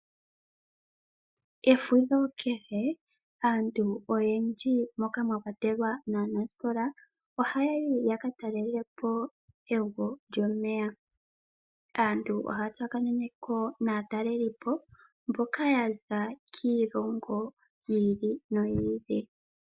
Efudho kehe aantu oyendji moka mwa kwatelwa naanasikola oha yayi ya katalele po evo lyomeya aantu, ohaya tsa kanene ko naatalelipo mboka yaza kiilongo yi ili noyi ili.